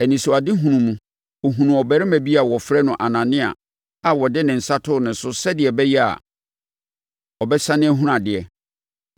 Anisoadehunu mu, ɔhunuu ɔbarima bi a wɔfrɛ no Anania a ɔde ne nsa too ne so sɛdeɛ ɛbɛyɛ a, ɔbɛsane ahunu adeɛ.”